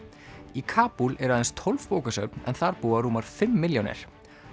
í Kabúl eru aðeins tólf bókasöfn en þar búa rúmar fimm milljónir